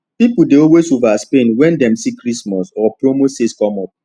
people dey always overspend when dem see christmas or promo sales come up